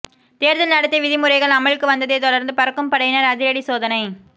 தேர்தல் நடத்தை விதிமுறைகள் அமலுக்கு வந்ததை தொடர்ந்து பறக்கும் படையினர் அதிரடி சோதனை